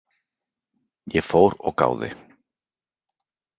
Ég fór og gáði.